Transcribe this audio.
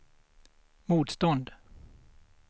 motstånd